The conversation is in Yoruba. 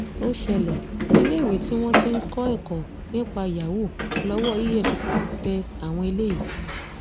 ó ṣẹlẹ̀ iléèwé tí wọ́n ti ń kọ́ ẹ̀kọ́ nípa yahoo lọ́wọ́ efcc ti tẹ àwọn eléyìí